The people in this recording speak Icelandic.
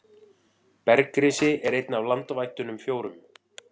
Bergrisi er einn af landvættunum fjórum.